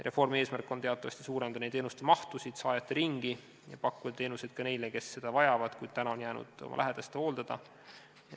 Reformi eesmärk on teatavasti suurendada teenuste mahtu ja saajate ringi ning pakkuda teenuseid ka neile, kes seda vajavad, kuid on jäänud oma lähedaste hooldada.